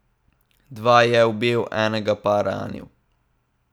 Dva je ubil, enega pa ranil.